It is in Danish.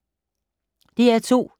DR2